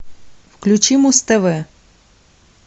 включи муз тв